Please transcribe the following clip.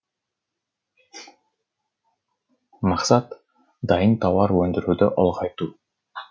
мақсат дайын тауар өндіруді ұлғайту